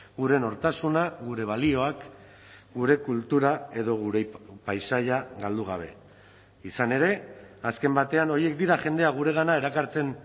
gure nortasuna gure balioak gure kultura edo gure paisaia galdu gabe izan ere azken batean horiek dira jendea guregana erakartzen